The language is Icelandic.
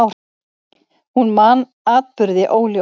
Hún man atburði óljóst.